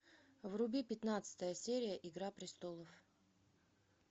вруби пятнадцатая серия игра престолов